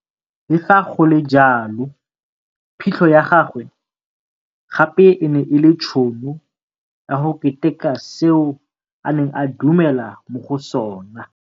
Le fa go le jalo, phitlho ya gagwe gape e ne e le tšhono ya go keteka seo a neng a dumela mo go sona.